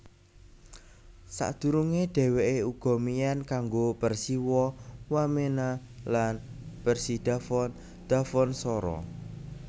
Sadurunge dheweke uga mian kanggo Persiwa Wamena lan Persidafon Dafonsoro